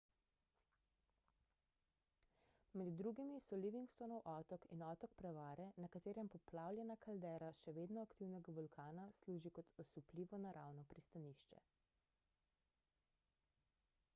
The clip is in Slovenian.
med drugimi so livingstonov otok in otok prevare na katerem poplavljena kaldera še vedno aktivnega vulkana služi kot osupljivo naravno pristanišče